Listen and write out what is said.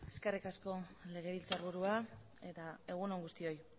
eskerrik asko legebiltzarburua eta egun on guztioi